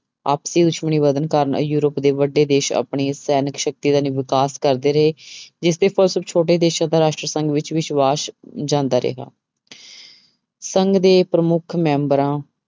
ਆਪਸੀ ਦੁਸ਼ਮਣੀ ਵਧਣ ਕਾਰਨ ਯੂਰਪ ਦੇ ਵੱਡੇ ਦੇਸ ਆਪਣੀ ਸੈਨਿਕ ਸ਼ਕਤੀ ਦਾ ਵਿਕਾਸ ਕਰਦੇ ਰਹੇ ਜਿਸਦੇ ਫਲਸਰੂਪ ਛੋਟੇ ਦੇਸਾਂ ਦਾ ਰਾਸ਼ਟਰ ਸੰਘ ਵਿੱਚ ਵਿਸ਼ਵਾਸ ਜਾਂਦਾ ਰਿਹਾ ਸੰਘ ਦੇ ਪ੍ਰਮੁੱਖ ਮੈਂਬਰਾਂ